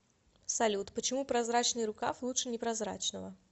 салют почему прозрачный рукав лучше непрозрачного